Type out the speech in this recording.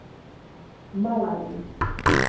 Malaví